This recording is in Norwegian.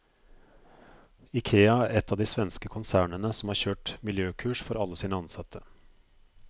Ikea er ett av de svenske konsernene som har kjørt miljøkurs for alle sine ansatte.